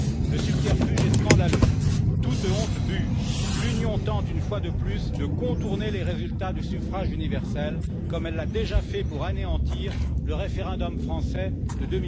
Le subterfuge est scandaleux. Toute honte bue, l'Union tente une fois de plus de contourner les résultats du suffrage universel comme elle l'a déjà fait pour anéantir le référendum français de